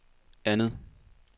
andet